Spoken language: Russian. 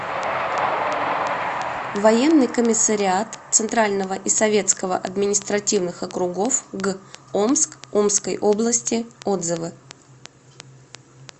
военный комиссариат центрального и советского административных округов г омск омской области отзывы